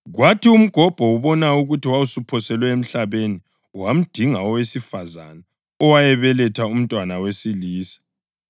Kwathi umgobho ubona ukuthi wawusuphoselwe emhlabeni wamdinga owesifazane owayebelethe umntwana wesilisa.